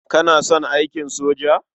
Kana son aikin soja?